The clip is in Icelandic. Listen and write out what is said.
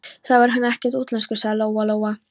Þá er hann ekkert útlenskur, sagði Lóa Lóa.